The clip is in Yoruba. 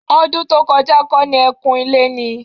Ọdún tó kọjá kọ́ ni ẹ́ kun ilé ni?